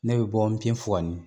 Ne bɛ bɔ Npiyenfuwani